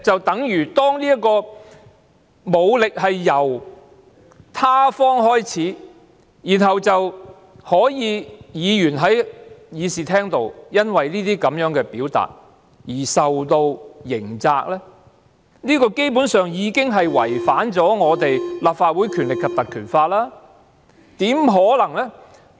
當武力由他方開始，然後議員在議事廳內因為這些表達而受到刑責，這基本上已經違反《條例》，怎麼可能是這樣？